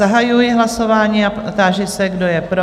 Zahajuji hlasování a táži se, kdo je pro?